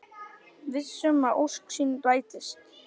Viss um að ósk sín rætist.